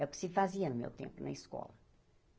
É o que se fazia no meu tempo na escola.